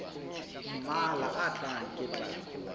mmalwa a tlang ke tla